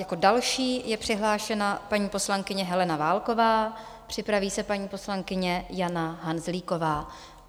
Jako další je přihlášena paní poslankyně Helena Válková, připraví se paní poslankyně Jana Hanzlíková.